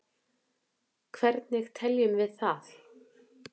Hvernig teljum við það?